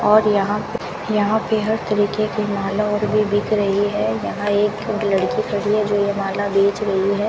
और यहां पे यहाँ पे हर तरीके की माला और भी बिक रही है यहां एक ठो लड़की खड़ी है जो ये माला बेच रही है।